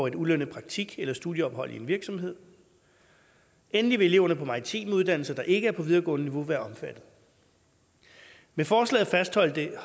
et ulønnet praktik eller studieophold i en virksomhed endelig vil eleverne på maritime uddannelser der ikke er på videregående niveau være omfattet med forslaget fastholdes det